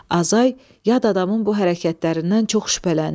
Azay yad adamın bu hərəkətlərindən çox şübhələndi.